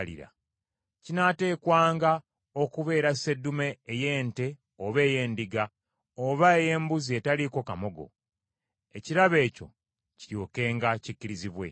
kinaateekwanga okubeera sseddume ey’ente oba ey’endiga, oba ey’embuzi etaliiko kamogo, ekirabo ekyo kiryokenga kikkirizibwe.